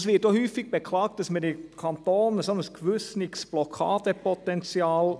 Es wird auch oft beklagt, im Kanton hätten wir ein gewisses Blockade-Potenzial.